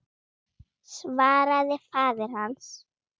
svaraði faðir hans.